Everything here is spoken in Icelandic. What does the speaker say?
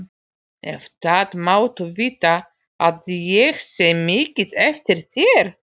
En það máttu vita að ég sé mikið eftir þér.